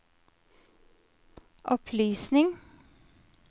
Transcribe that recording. opplysning